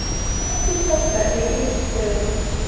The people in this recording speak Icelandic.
Ekki standa í ístöðunum!